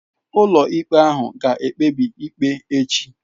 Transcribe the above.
Ụlọikpe ahụ ga-ekpebi ikpe echi.